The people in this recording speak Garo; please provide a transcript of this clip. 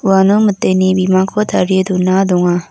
uano miteni bimangkoba tarie dona donga.